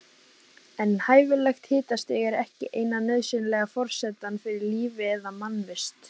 En hæfilegt hitastig er ekki eina nauðsynlega forsendan fyrir lífi eða mannvist.